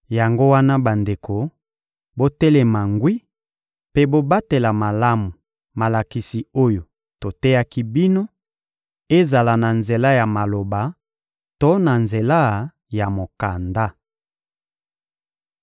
Yango wana bandeko, botelema ngwi mpe bobatela malamu malakisi oyo toteyaki bino, ezala na nzela ya maloba to na nzela ya mokanda.